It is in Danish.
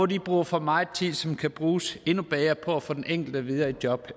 de bruger for meget tid som kan bruges endnu bedre på at få den enkelte videre i job